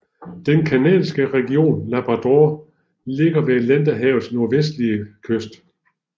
Den canadiske region Labrador ligger ved Atlanterhavets nordvestlige kyst